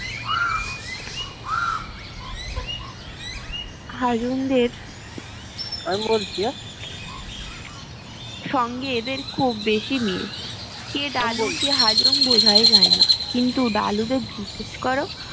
হাজং দের আমি বলছি হ্যাঁ সঙ্গে এদের খুব বেশি মিল কে ডালু কে হাজং বোঝাই যায় না কিন্তু ডালুদের জিজ্ঞেস করো